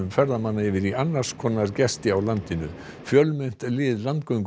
ferðamanna yfir í annars konar gesti á landinu fjölmennt lið